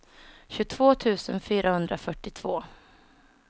tjugotvå tusen fyrahundrafyrtiotvå